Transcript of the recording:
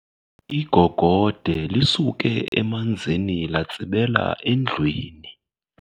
Igogode lisuke emanzini latsibela endlwini.